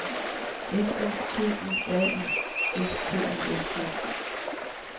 F U T U R I S T I S K